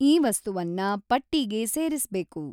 ಈ ವಸ್ತುವನ್ನ ಪಟ್ಟೀಗೆ ಸೇರಿಸ್ಬೇಕು